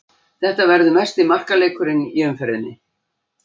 Þetta verður mesti markaleikurinn í umferðinni.